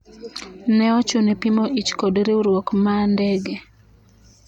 ne ochune pimo ich kod riwruok ma ndege